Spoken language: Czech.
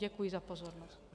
Děkuji za pozornost.